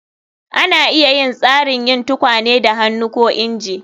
Ana iya yin tsarin yin tukwane da hannu ko inji